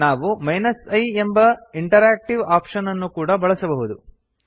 ನಾವು i ಎಂಬ interactive option ಅನ್ನು ಕೂಡಾ ಬಳಸಬಹುದು